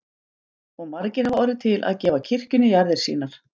Og margir hafa orðið til að gefa kirkjunni jarðir sínar.